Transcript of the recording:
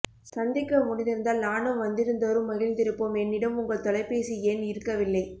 சந்திக்க முடிந்திருந்தால் நானும் வந்திருந்தோறும் மகிழ்ந்திருப்போம் என்னிடம் உங்கள் தொலை பேசி எண் இருக்கவில்லை